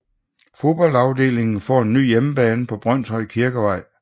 Fodboldafdelingen får en ny hjemmebane på Brønshøj Kirkevej